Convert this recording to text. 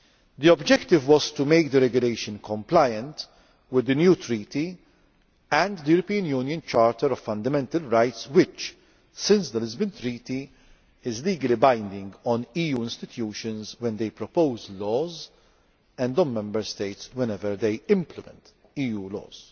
The objective was to make the regulation compliant with the new Treaty and the European Charter of Fundamental Rights which, since the Lisbon Treaty, is legally binding on EU institutions when they propose laws and on Member States whenever they implement EU laws.